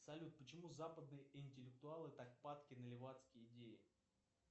салют почему западные интеллектуалы так падки на ливацкие идеи